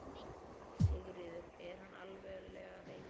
Sigríður: Er hann alvarlega veikur?